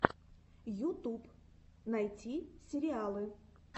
ютуб найди сериалы